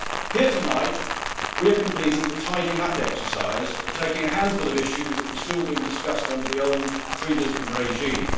Here tonight we are completing the tidying up exercise of taking a handful of issues that were still being discussed under the old pre Lisbon regime.